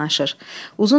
Pəncərəyə yaxınlaşır.